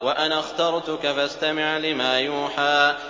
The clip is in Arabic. وَأَنَا اخْتَرْتُكَ فَاسْتَمِعْ لِمَا يُوحَىٰ